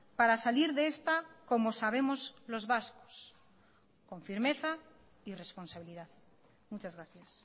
para salir de esta como sabemos los vascos con firmeza y responsabilidad muchas gracias